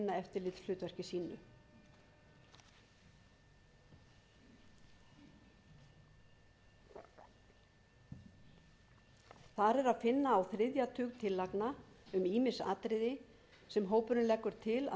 til að sinna eftirlitshlutverki sínu þar er að finna á þriðja tug tillagna um ýmis atriði sem hópurinn leggur til að